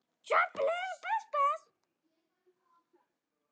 Skyldan kallar!